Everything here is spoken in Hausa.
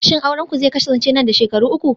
shin aurenku zai kasance nan da shekaru uku